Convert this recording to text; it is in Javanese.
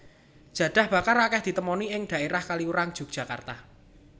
Jadah bakar akèh ditemoni ing dhaérah Kaliurang Yogyakarta